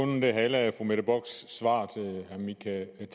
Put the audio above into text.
med at det er